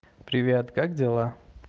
привет как дела